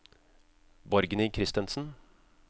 Borgny Christensen